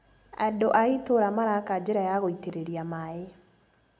Andũ a itũũra maraka njira ya gũitĩrĩria maĩ.